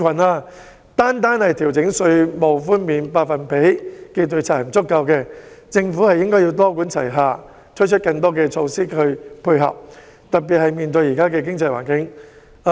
但是，單單調整稅務寬減百分比並不足夠，政府應該多管齊下，推出更多配套措施，特別是在現時的經濟環境下。